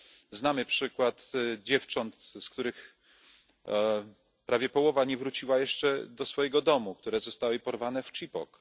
Znamy przykład dziewcząt, z których prawie połowa nie wróciła jeszcze do swojego domu, które zostały porwane w Chibok.